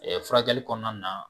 Ɛ furakɛli kɔnɔna na